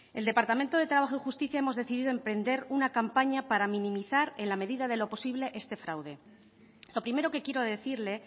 el departamento de trabajo y justicia hemos decidido emprender una campaña para minimizar en la medida de lo posible este fraude lo primero que quiero decirle